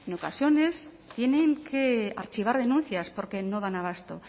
ocasiones tienen que archivar denuncias porque no dan abasto